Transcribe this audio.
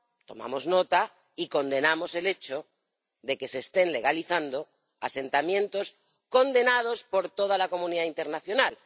Tomamos nota y condenamos el hecho de que se estén legalizando asentamientos condenados por toda la comunidad internacional.